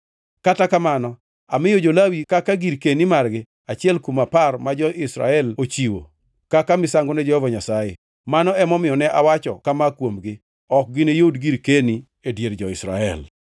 Kata kamano, amiyo jo-Lawi kaka girkeni margi achiel kuom apar ma jo-Israel ochiwo kaka misango ne Jehova Nyasaye. Mano emomiyo ne awacho kama kuomgi: ‘Ok giniyud girkeni e dier jo-Israel.’ ”